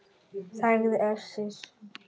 sagði Össur.